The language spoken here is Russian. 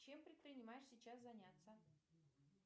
чем предпринимаешь сейчас заняться